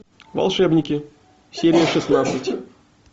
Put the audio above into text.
волшебники серия шестнадцать